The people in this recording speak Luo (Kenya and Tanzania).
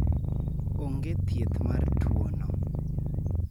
Onge thieth mar tuono.